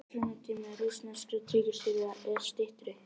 Æxlunartími rússneskra tígrisdýra er styttri.